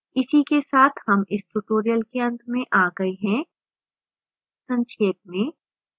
इसी के साथ हम इस tutorial के अंत में आ गए हैं संक्षेप में